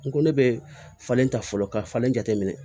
N ko ne bɛ falen ta fɔlɔ ka falen jateminɛ